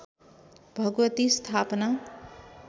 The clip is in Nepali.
भगवती स्थापना